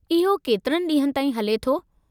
इहो केतिरे ॾींहनि ताईं हले थो?